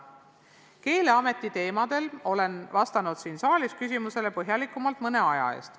Keeleameti teemadel olen vastanud siin saalis küsimusele põhjalikumalt mõne aja eest.